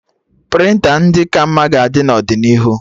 Prịnta ndị ka mma ga-adị n'ọdịnihu